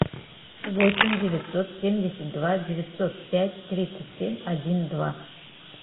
восемь девятьсот семьдесят два девятьсот пять тридцать семь один два